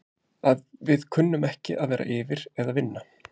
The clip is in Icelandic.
Að við kunnum ekki að vera yfir eða vinna?